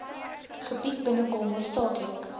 gebied binnekom hoofsaaklik